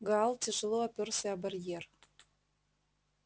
гаал тяжело опёрся о барьер